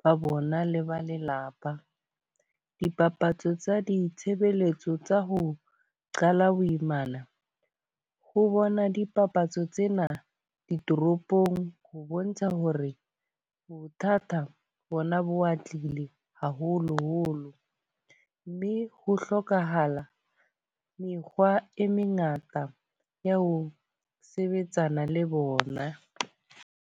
ba bona le ba lelapa. Dipapatso tsa ditshebeletso tsa ho qala boimana, ho bona dipapatso tsena ditoropong. Ho bontsha ho re bothata bona bo atleile haholo-holo. Mme ho hlokahala mekgwa e mengata ya ho sebetsana le bona.